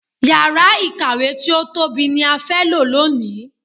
Yàrá ìkàwé tí ó tóbi ni a fẹ́ lò lónìí.